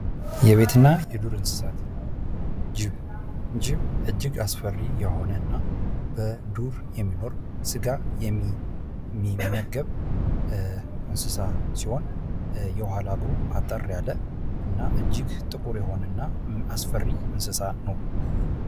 የቤት እንሰሳት እና የዱር እንሰሳት፦ ጅብ፦ ጅብ በጣም አስፈሪ የሆነ እና ስጋ የሚመገብ የኋላ እግሩ አጠር ያለ እና ጥቁር የሆነ እንሰሳ ነው።